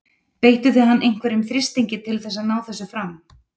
Beittu þið hann einhverjum þrýstingi til þess að ná þessu fram?